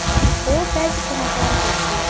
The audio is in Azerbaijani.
O bəzi qonaqları gözləyirdi.